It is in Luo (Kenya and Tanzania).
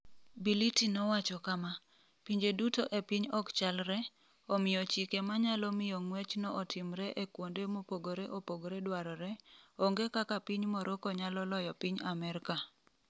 Bility nowacho kama: “Pinje duto e piny ok chalre, omiyo chike ma nyalo miyo ng’wechno otimre e kuonde mopogore opogore dwarore, onge kaka piny Morocco nyalo loyo piny Amerka.”